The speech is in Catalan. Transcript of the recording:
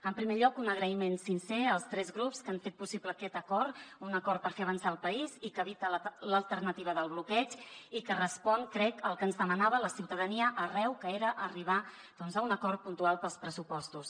en primer lloc un agraïment sincer als tres grups que han fet possible aquest acord un acord per fer avançar el país i que evita l’alternativa del bloqueig i que respon crec al que ens demanava la ciutadania arreu que era arribar a un acord puntual per als pressupostos